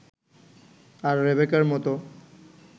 আর রেবেকার মতো